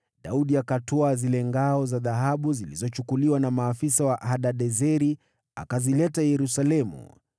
Daudi akazitwaa ngao za dhahabu zilizokuwa za maafisa wa Hadadezeri na kuzileta Yerusalemu.